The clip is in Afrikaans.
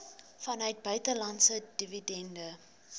vanuit buitelandse dividende